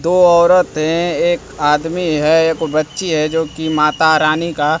दो औरतें एक आदमी है एक बच्ची है जोकि माता रानी का--